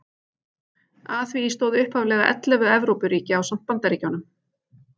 Að því stóðu upphaflega ellefu Evrópuríki ásamt Bandaríkjunum.